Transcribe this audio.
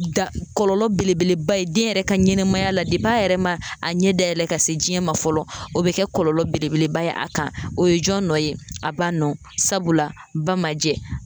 Da kɔlɔlɔ belebeleba ye den yɛrɛ ka ɲɛnɛmaya la a yɛrɛ ma a ɲɛ dayɛlɛ ka se diɲɛ ma fɔlɔ o bɛ kɛ kɔlɔlɔ belebeleba ye a kan o ye jɔn nɔ ye a b'a dɔn sabula ba ma jɛ.